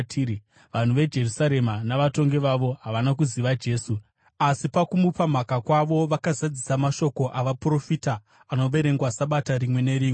Vanhu veJerusarema navatongi vavo havana kuziva Jesu, asi pakumupa mhaka kwavo vakazadzisa mashoko avaprofita anoverengwa Sabata rimwe nerimwe.